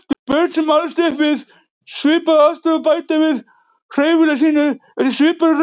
Börn sem alast upp við svipaðar aðstæður bæta við hreyfigetu sína eftir svipaðri röð.